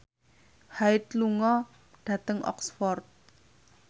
Hyde lunga dhateng Oxford